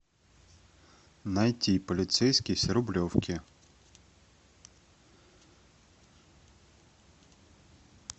найти полицейский с рублевки